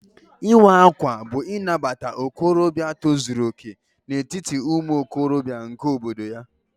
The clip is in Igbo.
Ịwa ákwà bú Inabata okorobịa tozuru okè n'etiti umuokorobia nke obodo ya